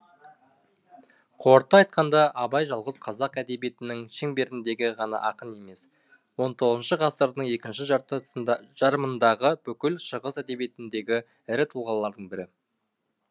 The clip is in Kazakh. қорыта айтқанда абай жалғыз қазақ әдебиетінің шеңберіндегі ғана ақын емес он тоғызыншы ғасырдың екінші жарымындағы бүкіл шығыс әдебиетіндегі ірі тұлғалардың бірі